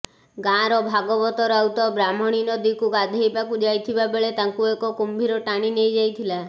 ଗାଁର ଭାଗବତ ରାଉତ ବ୍ରାହ୍ମଣୀ ନଦୀକୁ ଗାଧୋଇବାକୁ ଯାଇଥିବା ବେଳେ ତାଙ୍କୁ ଏକ କୁମ୍ଭୀର ଟାଣି ନେଇଥିଲା